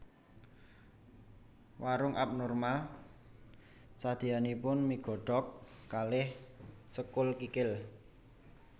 Warunk Upnormal sadeanipun mie godhog kalih sekul kikil